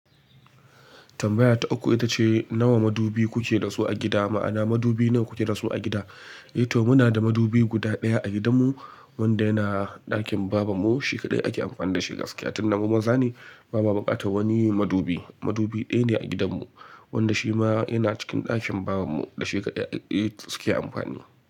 Tambaya ta uku ita ce nawa madubi kuke da su a gida? Ma'ana madubi nawa kuke da su a gida? E to muna da madubi guda ɗaya a gidanmu wanda yana ɗakin babanmu. Shi kadai ake amfani da shi gaskiya. Tin da mu maza ne bama bukatar wani madubi. Madubi ɗaya ne a gidanmu wanda shi ma yana cikin ɗakin babanmu da shi kadai eh suke amfani.